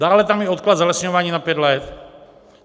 Dále tam je odklad zalesňování na pět let.